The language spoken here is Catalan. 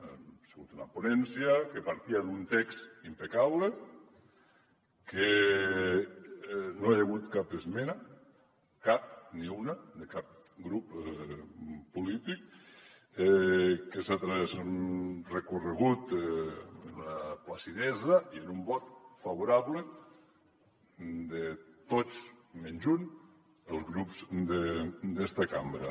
ha sigut una ponència que partia d’un text impecable que no hi ha hagut cap esmena cap ni una de cap grup polític que ha recorregut amb una placidesa i amb un vot favorable de tots menys un dels grups d’esta cambra